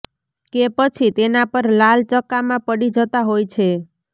કે પછી તેના પર લાલ ચકામાં પડી જતાં હોય છે